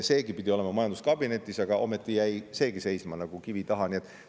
Seegi pidi olema majanduskabinetis, aga ometi jäi see seisma ja oli nagu kivi taga kinni.